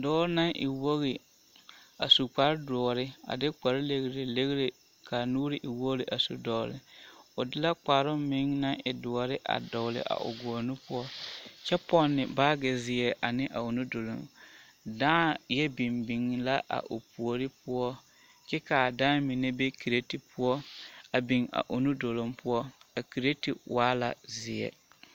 Dɔɔ naŋ e wogi a su kpare doɔre a de kpare legilegire k'a nuuri e wogiri a su dɔgele o de la kparoŋ meŋ naŋ e doɔre a dɔgele a o gɔɔ nu poɔ kyɛ pɔnne baagi zeɛ ane a o nu duluŋ, dãã yɛ biŋ biŋ la a o puori poɔ kyɛ k'a dãã mine be kireti poɔ a biŋ a o nu duluŋ poɔ a kireti waa la zeɛ.